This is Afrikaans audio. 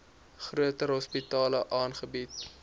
groter hospitale aangebied